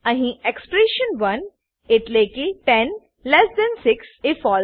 અહી એક્સપ્રેશન1 એટલેકે 106 એ ફળસે